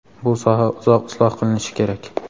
bu soha uzoq isloh qilinishi kerak.